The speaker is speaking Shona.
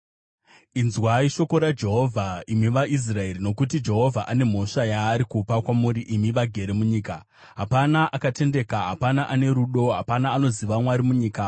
Inzwai shoko raJehovha, imi vaIsraeri, nokuti Jehovha ane mhosva yaari kupa kwamuri imi vagere munyika: “Hapana akatendeka, hapana ane rudo, hapana anoziva Mwari munyika.